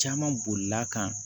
Caman bolila kan